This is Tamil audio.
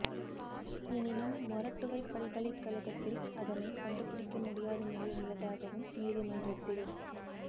எனினும் மொரட்டுவை பல்கலைக்ழகத்தில் அதனை கண்டுபிடிக்க முடியாத நிலை உள்ளதாகவும் நீதிமன்றத்தில்